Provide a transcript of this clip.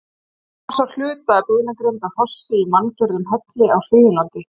Hér má sjá hluta af beinagrind af hrossi í manngerðum helli á Suðurlandi.